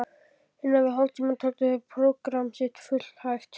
innan við hálftíma töldu þeir prógramm sitt fullæft.